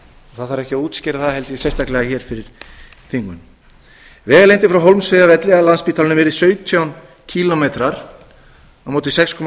það þarf ekki að útskýra það held ég sérstaklega fyrir þingmönnum vegalengdin frá hólmsheiðarvelli að landspítalanum yrði sautján kílómetrar á móti sextíu og